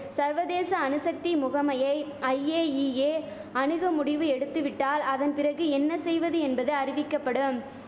சர்வதேச அணுசக்தி முகமையை ஐஏஇஏ அணுக முடிவு எடுத்துவிட்டால் அதன் பிறகு என்ன செய்வது என்பது அறிவிக்கபடும்